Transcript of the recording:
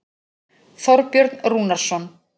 Þorbjörn Rúnarsson.